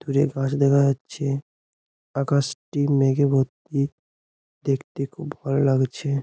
দূরে গাছ দেখা যাচ্ছে। আকাশটি মেঘে ভর্তি। দেখতে খুব ভালো লাগছে।